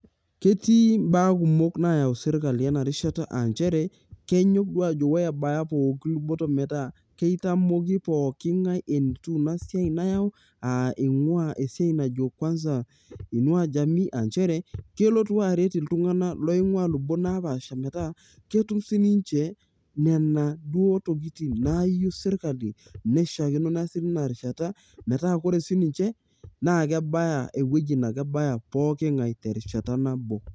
ketii imbaa kumok naayau sirkali ena rishata aa nchere, kenyok duoo oye ebaiki pookin luboto, metaa kitamoki ppong'ae enetiu ina iai nayau, aa eing'ua esiai najo kwanza ing'uaa jamii aa kelotu aret iltunganak oing'uaa ilubot napaasha, metaa ketum sii ninche, nena duo tokitin naayieu sirkali. neishaakino naa sii teina rishata, metaa ore sii ninche naa kebaya ewueji naa kebaya pookin ngae terishata nabo.